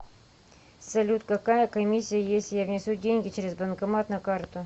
салют какая комиссия если я внесу деньги через банкомат на карту